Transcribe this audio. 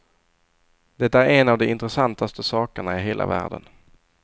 Det är en av de intressantaste sakerna i hela världen.